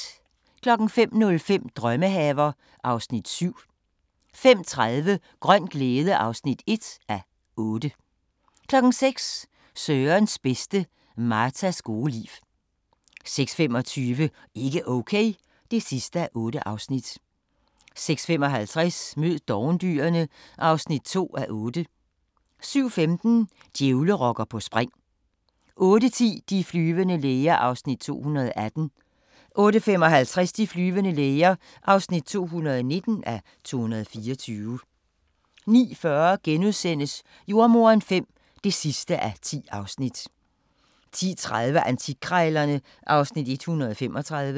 05:05: Drømmehaver (Afs. 7) 05:30: Grøn glæde (1:8) 06:00: Sørens bedste: Martas gode liv 06:25: Ikke Okay (8:8) 06:55: Mød dovendyrene (2:8) 07:15: Djævlerokker på spring 08:10: De flyvende læger (218:224) 08:55: De flyvende læger (219:224) 09:40: Jordemoderen V (10:10)* 10:30: Antikkrejlerne (Afs. 135)